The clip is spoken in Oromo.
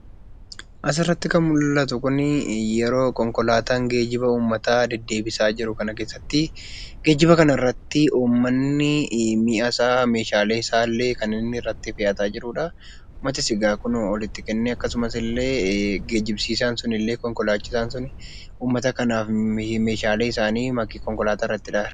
Asirratti kan mul'atu kuni yeroo konkolaataan geejjiba uummataa deddeebisaa jiru kana keessatti uummanni kun meeshaa isaa kan irratti fe'ataa jirudha. Uummatis egaa kunoo ol itti kennee geejjibsiisaan sun illee konkolaataan sun uummata kanaaf meeshaalee isaanii konkolaataa irratti hodhaa jira.